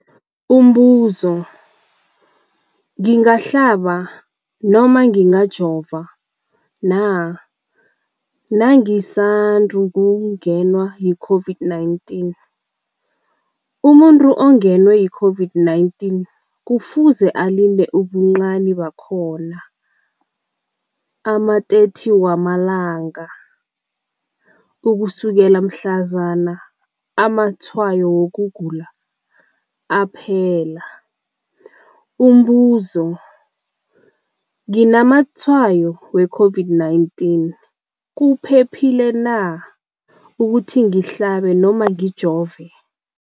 Umbuzo, ngingahlaba, ngingajova na nangisand ukungenwa yi-COVID-19? Umuntu ongenwe yi-COVID-19 kufuze alinde ubuncani bakhona ama-30 wama langa ukusukela mhlazana amatshayo wokugula aphela. Umbuzo, nginamatshayo we-COVID-19, kuphephile na ukuthi ngihlabe, ngijove?